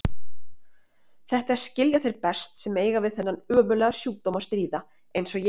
Þetta skilja þeir best sem eiga við þennan ömurlega sjúkdóm að stríða eins og ég.